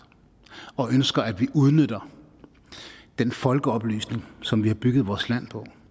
og ønsker at vi udnytter den folkeoplysning som vi har bygget vores land på